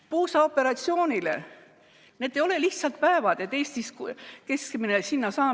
Puusaoperatsioonile saab Eestis keskmiselt 391 päevaga.